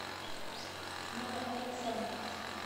новоалександровск